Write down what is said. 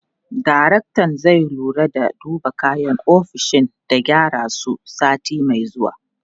Daraktan zai lura da duba kayan ofishin da gyaran su, sati mai zuwa.